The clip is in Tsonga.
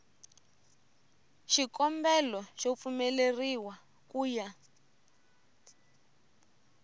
xikombelo xo pfumeleriwa ku ya